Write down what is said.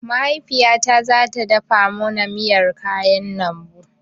Mahaifiyata zata dafa mana miyar kayan lambu